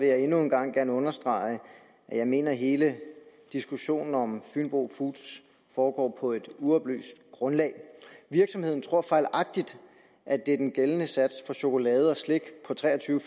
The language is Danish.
jeg endnu en gang gerne understrege at jeg mener at hele diskussionen om fynbo foods foregår på et uoplyst grundlag virksomheden tror fejlagtigt at det er den gældende sats for chokolade og slik på tre og tyve